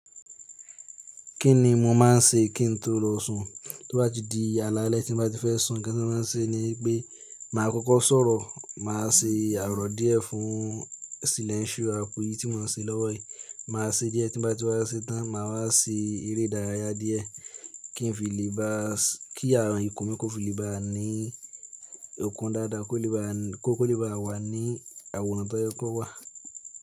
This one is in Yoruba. Kí ni mo máa ń ṣe kí n tó lọ sùn? Tó bá ti di alaalẹ́ tí n bá ti fẹ́ sùn, nkan ti n máa ṣe ní pé màá kọ́kọ́ sọ̀rọ̀, màá ṣe àrọ̀ díẹ̀ fún silẹ́nṣù àpò yìí tí won ń ṣe lọ́wọ́ yìí. Màá ṣe díẹ̀ tí bá ti wá ṣe tán, màá wá ṣe eré ìdárayá díẹ̀ kí fible ba ki awọn ìkún mi kó fi lè bá ní okun dáadáa, kó lè bá wà ní àwòrán tó yẹ kó wà.